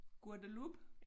Guadeloupe